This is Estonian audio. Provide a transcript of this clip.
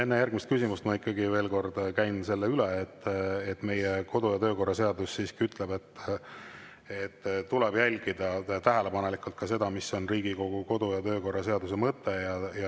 Enne järgmist küsimust ma ikkagi veel kord käin üle selle, et meie kodu‑ ja töökorra seadus ütleb, et tuleb jälgida tähelepanelikult ka seda, mis on Riigikogu kodu‑ ja töökorra seaduse mõte.